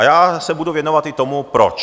A já se budu věnovat i tomu, proč.